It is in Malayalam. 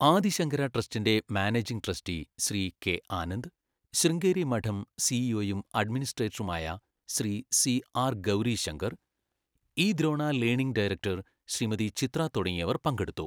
ആദി ശങ്കര ട്രസ്റ്റിൻ്റെ managing trustee Shri K Anand, Sringeri Math സിഇഒയും അഡ്മിനിസ്ട്രേറ്ററുമായ Shri C R Gowrishankar , E Drona learning director Shrimati Chitra തുടങ്ങിയവർ പങ്കെടുത്തു.